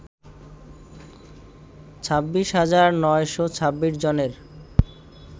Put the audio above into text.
২৬ হাজার ৯শ ২৬ জনের